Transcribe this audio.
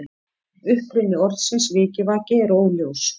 Uppruni orðsins vikivaki er óljós.